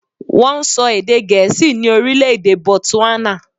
Wọ́n ń sọ èdè gẹ̀ẹ́sì ní orílè-èdè botswana.